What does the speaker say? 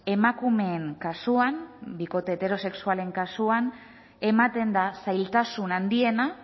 emakumeen kasuan bikote heterosexualen kasuan ematen da zailtasun handiena